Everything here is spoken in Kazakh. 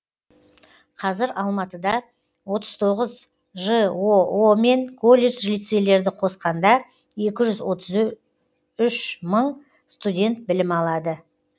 қазір алматыда отыз тоғыз жоо мен колледж лицейлерді қосқанда екі жүз отыз үш мың студент білім алады